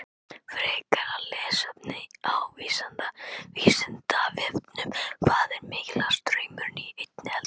Frekara lesefni á Vísindavefnum: Hvað er mikill straumur í einni eldingu?